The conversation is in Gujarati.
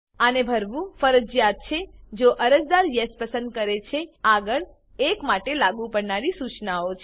આને ભરવું ફરજીયાત છે જો અરજદાર યેસ પસંદ કરે છે આગળ 1 માટે લાગુ પડનારી સૂચનાઓ છે